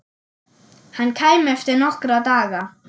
Hann kæmi eftir nokkra daga.